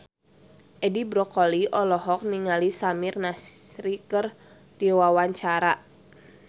Edi Brokoli olohok ningali Samir Nasri keur diwawancara